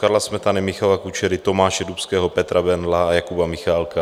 Karla Smetany, Michala Kučery, Tomáše Dubského, Petra Bendla a Jakuba Michálka.